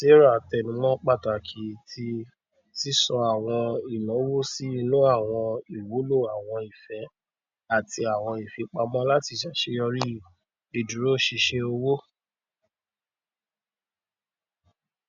sarah tẹnùmọ pàtàkì tí sísọ àwọn ináwó sí inú àwọn ìwúlò àwọn ìfẹ àti àwọn ìfipamọ láti ṣàṣeyọrí ìdúróṣinṣin owó